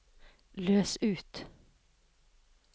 løs ut